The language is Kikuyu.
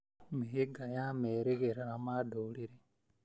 mĩhĩnga ya merĩgĩrĩra ma ndũrĩrĩ.